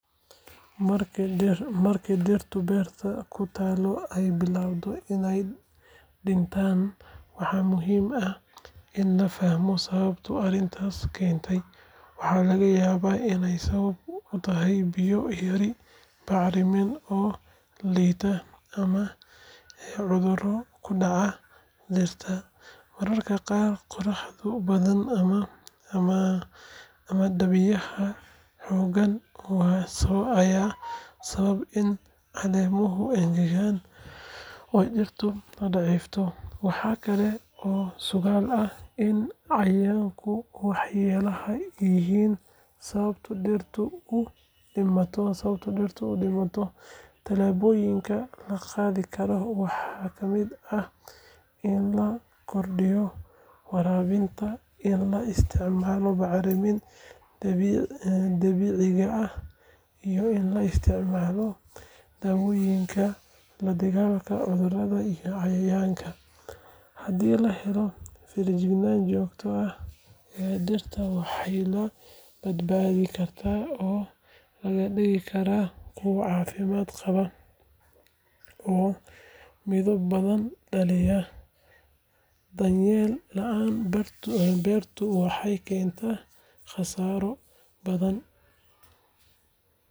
Marka dhirta beerta ku taal ay bilaabato inay dhintaan, waxaa muhiim ah in la fahmo sababta arrintaas keentay. Waxaa laga yaabaa inay sabab u tahay biyo yari, bacriminta oo liidata ama cudurro ku dhacay dhirta. Mararka qaar qorraxda badan ama dabaylaha xooggan ayaa sababa in caleemaha engegaan oo dhirtu daciifto. Waxaa kale oo suuragal ah in cayayaanka waxyeeleeya ay yihiin sababta dhirta u dhimato. Tallaabooyinka la qaadi karo waxaa ka mid ah in la kordhiyo waraabka, in la isticmaalo bacriminta dabiiciga ah iyo in la isticmaalo daawooyinka la dagaalama cudurrada iyo cayayaanka. Haddii la helo feejignaan joogto ah, dhirtaas waxaa la badbaadin karaa oo laga dhigi karaa kuwo caafimaad qaba oo midho badan dhalaya. Daryeel la’aan beertu waxay keentaa khasaaro bathan.